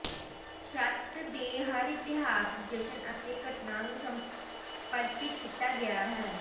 ਸੱਤ ਦੇ ਹਰ ਇਤਿਹਾਸਕ ਜਸ਼ਨ ਅਤੇ ਘਟਨਾ ਨੂੰ ਸਮਰਪਿਤ ਕੀਤਾ ਗਿਆ ਹੈ